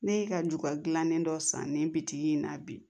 Ne ye ka ju ka gilannen dɔ san nin bitigi in na bi